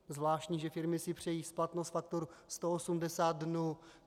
Zvláštní, že firmy si přejí splatnost faktur 180 dnů.